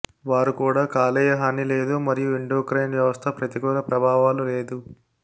వారు కూడా కాలేయ హాని లేదు మరియు ఎండోక్రైన్ వ్యవస్థ ప్రతికూల ప్రభావాలు లేదు